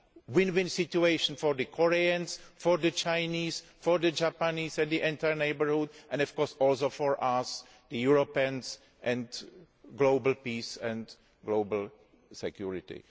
a win win situation for the Koreans, for the Chinese, for the Japanese and the entire neighbourhood and, of course, also for us Europeans and for global peace and global security.